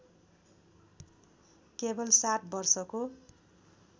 केवल सात वर्षको